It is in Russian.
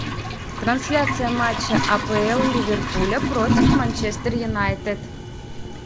трансляция матча апл ливерпуля против манчестер юнайтед